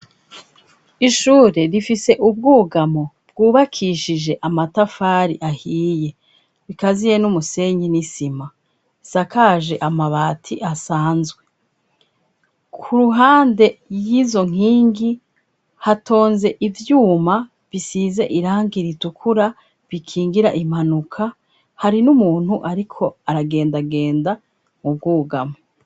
Ishure rifise ubwugamo bwubakishije amatafari ahiye. Bikaziye n'umusenyi n'isima. Isakaje amabati asanzwe. Ku ruhande y'izo nkingi, hatonze ivyuma bisize irangi ritukura, bikingira impanuka, hari n'umuntu ariko aragendagenda mu bwugamo.